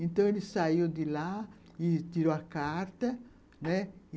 Então, ele saiu de lá e tirou a carta, né?